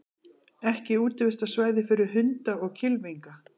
Ekki útivistarsvæði fyrir hunda og kylfinga